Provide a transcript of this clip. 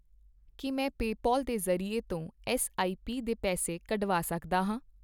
ਕੀ ਮੈਂ ਪੇਪਾਲ ਦੇ ਜ਼ਰੀਏ ਤੋਂ ਐੱਸਆਈਪੀ ਦੇ ਪੈਸੇ ਕੱਢਵਾ ਸਕਦਾ ਹਾਂ ?